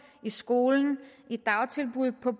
i skolen i dagtilbud på